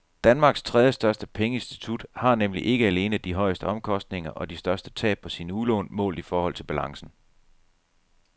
Danmarks tredjestørste pengeinstitut har nemlig ikke alene de højeste omkostninger og de største tab på sine udlån målt i forhold til balancen.